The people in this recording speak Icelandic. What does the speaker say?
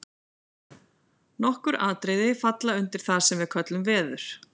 Nokkur atriði falla undir það sem við köllum veður.